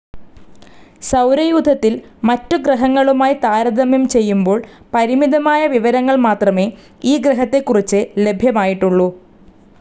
സൗരയൂഥത്തിൽ മറ്റ് ഗ്രഹങ്ങളുമായി താരതമ്യം ചെയ്യുബോൾ പരിമിതമായ വിവരങ്ങൾ മാത്രമേ ഈ ഗ്രഹത്തെ കുറിച്ച് ലഭ്യമായിട്ടുള്ളു.